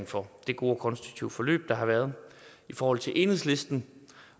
for det gode og konstruktive forløb der har været i forhold til enhedslisten